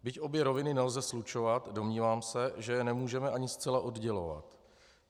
Byť obě roviny nelze slučovat, domnívám se, že je nemůžeme ani zcela oddělovat.